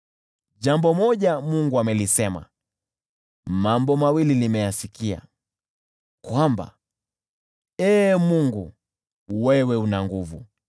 Jambo moja Mungu amelisema, mambo mawili nimeyasikia: kwamba, Ee Mungu, wewe una nguvu,